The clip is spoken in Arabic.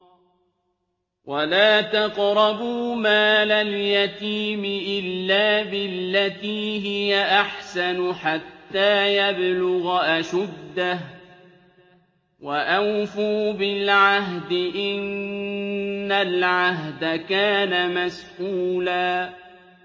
وَلَا تَقْرَبُوا مَالَ الْيَتِيمِ إِلَّا بِالَّتِي هِيَ أَحْسَنُ حَتَّىٰ يَبْلُغَ أَشُدَّهُ ۚ وَأَوْفُوا بِالْعَهْدِ ۖ إِنَّ الْعَهْدَ كَانَ مَسْئُولًا